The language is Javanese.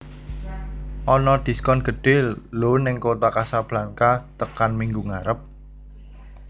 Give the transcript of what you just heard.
Ono diskon gedhe lho ning Kota Kasblanka tekan minggu ngarep